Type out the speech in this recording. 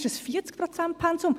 Das ist ein 40-Prozent-Pensum.